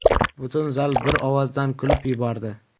Butun zal bir ovozdan kulib yubordi.